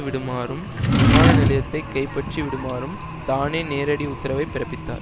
விடுமாறும் விமான நிலையத்தை கைப்பற்றி விடுமாறும் தானே நேரடி உத்தரவை பிறப்பித்தார்